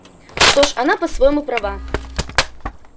что ж она по-своему права